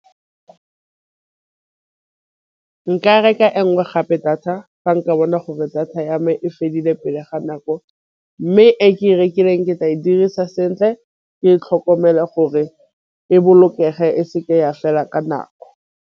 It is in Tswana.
Nka reka e nngwe gape data ga nka bona gore data ya me e fedile pele ga nako, mme e ke e rekileng ke tla e dirisa sentle ke e tlhokomele gore e bolokege e se ke ya fela ka nako.